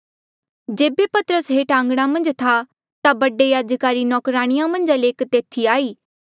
जेबे पतरस हेठ आंघणा मन्झ था ता बडे याजका री नौकराणिया मन्झा ले एक तेथी आई